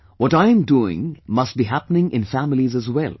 What I am doing must be happening in families as well